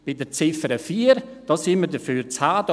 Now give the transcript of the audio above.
Bei der Ziffer 4 sind wir dafür zu haben.